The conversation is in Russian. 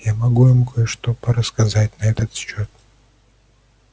я могу им кое-что порассказать на этот счёт